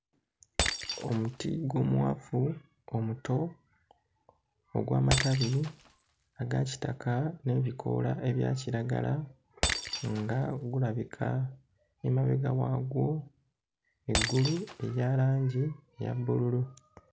Omuti gw'omuwafu omuto ogw'amatbi aga kitaka n'ebikoola ebya kiragala nga gulabika emabega waagwo, eggulu erya langi eya bbululu.